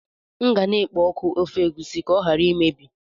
M ga na-ekpo ọkụ ofe egusi ka ọ ghara imebi.